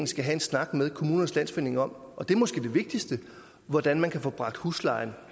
skal have en snak med kommmunernes landsforening om og det er måske det vigtigste hvordan man kan få bragt huslejen